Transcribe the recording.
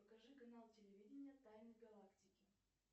покажи канал телевидения тайны галактики